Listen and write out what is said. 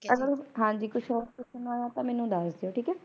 Hello ਹਾਂਜੀ ਕੁਝ ਆਇਆ ਤਾ ਮੈਨੂੰ ਦੱਸ ਦਿਓ